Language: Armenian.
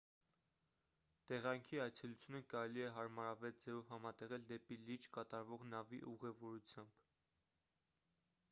տեղանքի այցելությունը կարելի է հարմարավետ ձևով համատեղել դեպի լիճ կատարվող նավի ուղևորությամբ